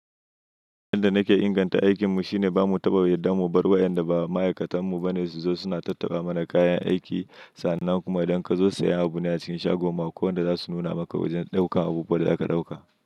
Abunda nake inganta aikinmu shine bamu taɓa yarda mu bar wa yanda ba ma'aikatan mu bane su zo suna tattaɓa mana kayan aiki sannan kuma idan ka zo saya abune acikin shagon mu, ko wanda zasu nuna maka wajan ɗaukan abubuwan da zaka ɗauka.